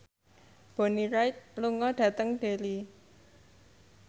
Bonnie Wright lunga dhateng Derry